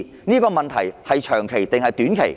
這個問題是長期，還是短期？